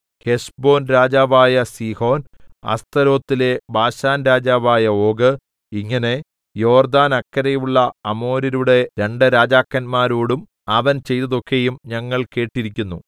Heshbon രാജാവായ Sihon അസ്തരോത്തിലെ ബാശാൻരാജാവായ ഓഗ് ഇങ്ങനെ യോർദ്ദാനക്കരെയുള്ള അമോര്യരുടെ രണ്ട് രാജാക്കന്മാരോടും അവൻ ചെയ്തതൊക്കെയും ഞങ്ങൾ കേട്ടിരിക്കുന്നു